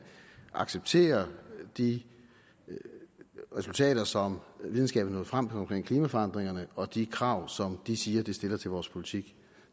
accepterer de resultater som videnskaben er nået frem til omkring klimaforandringerne og de krav som de siger det stiller til vores politik